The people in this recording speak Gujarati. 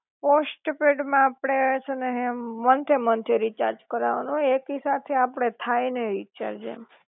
પોસ્ટપેડ માં આપડે છ ને હે મંથે મંથે રીચાર્જ કરાવા નું હોય, એકી સાથે આપડે થાઈ નઇ રીચાર્જ